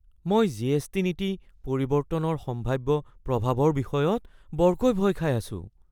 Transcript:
মই জিএছটি নীতি পৰিৱৰ্তনৰ সম্ভাৱ্য প্ৰভাৱৰ বিষয়ত বৰকৈ ভয় খাই আছো।